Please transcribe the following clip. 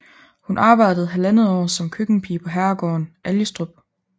Hun arbejdede halvandet år som køkkenpige på herregården Algestrup